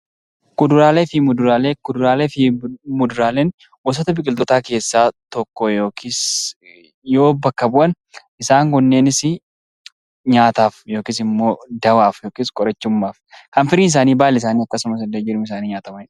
Kuduraalee fi muduraalee Kuduraalee fi muduraaleen gosoota biqiltootaa keessa tokko yookiis yoo bakka bu'an; isaan kunneenis nyaataaf yookiis immoo dawaaf yookiis qorichummaaf. Kan firiin isaanii, baalli isaanii, hiddii fi jirmi isaanii nyaatamani dha.